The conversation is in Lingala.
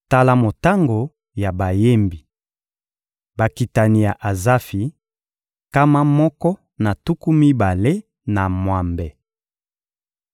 Tala motango ya bayembi: Bakitani ya Azafi: nkama moko na tuku mibale na mwambe.